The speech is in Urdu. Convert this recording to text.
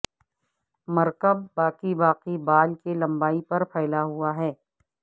مرکب باقی باقی بال کی لمبائی پر پھیلا ہوا ہے